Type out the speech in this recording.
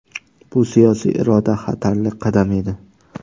Bu siyosiy iroda, xatarli qadam edi.